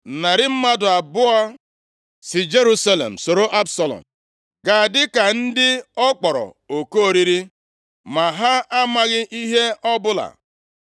Narị mmadụ abụọ si Jerusalem soro Absalọm gaa dịka ndị ọ kpọrọ oku oriri ma ha amaghị ihe ọbụla.